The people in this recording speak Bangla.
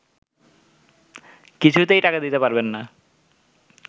কিছুতেই টাকা দিতে পারবেন না